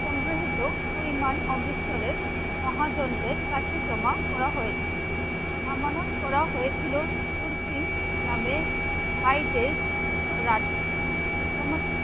সংগৃহীত পরিমাণ অমৃতসরের মহা চন্দ্রের কাছে জমা করা হয়েছিল। আমানত করা হয়েছিল সুর সিং নামে ভাইদের রাজ্যে। সমস্ত